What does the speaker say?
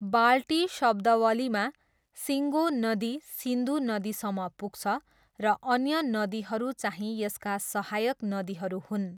बाल्टी शब्दावलीमा, सिङ्गो नदी सिन्धु नदीसम्म पुग्छ, र अन्य नदीहरू चाहिँ यसका सहायक नदीहरू हुन्।